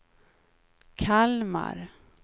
Kalmar